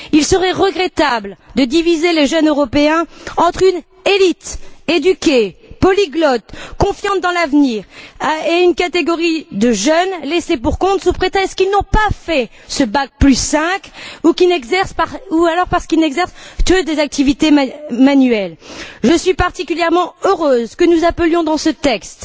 Il serait regrettable de diviser les jeunes Européens entre une élite éduquée, polyglotte, confiante dans l'avenir, et une catégorie de jeunes laissés pour compte sous prétexte qu'ils n'ont pas fait ce bac 5 ou alors parce qu'ils n'exercent que des activités manuelles. Je suis particulièrement heureuse que nous appelions dans ce texte